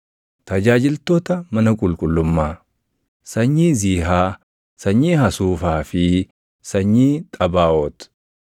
Tajaajiltoota mana qulqullummaa: sanyii Ziihaa, sanyii Hasuufaa fi sanyii Xabaaʼoot,